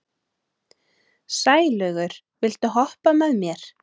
Sælaugur, viltu hoppa með mér?